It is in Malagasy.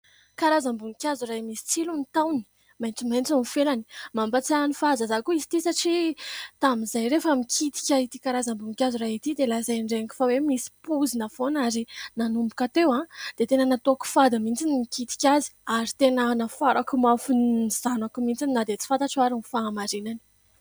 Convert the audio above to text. Karazam-boninkazo iray misy tsilo ny taony maintsomaintso ny felany mampatsiahy ny fahazazana koa izy ity satria tamin'izay rehefa mikitika ity karazam-boninkazo raha ity dia lazain'ny reniko fa hoe misy pozina foana ary nanomboka teo aho dia tena natoako fady mihintsy ny mikitika azy ary tena nafarako mafy ny zanako mihintsy na dia tsy fantatro ary ny fahamarinany.